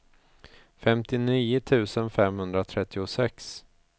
femtionio tusen femhundratrettiosex